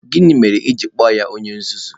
Gịnị mere i ji kpọọ ya onye nzuzu?